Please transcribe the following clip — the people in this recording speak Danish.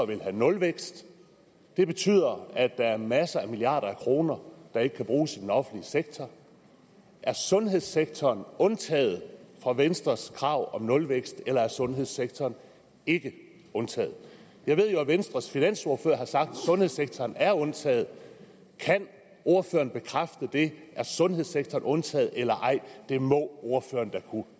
vil have nulvækst det betyder at der er masser af milliarder kroner der ikke kan bruges i den offentlige sektor er sundhedssektoren undtaget fra venstres krav om nulvækst eller er sundhedssektoren ikke undtaget jeg ved jo at venstres finansordfører har sagt at sundhedssektoren er undtaget kan ordføreren bekræfte det er sundhedssektoren undtaget eller ej det må ordføreren da kunne